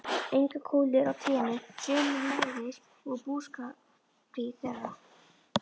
Englar og kúlur á trénu, sömuleiðis úr búskapartíð þeirra.